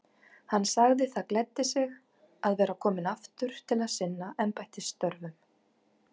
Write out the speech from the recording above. Hann sagði það gleddi sig að vera kominn aftur til að sinna embættisstörfum.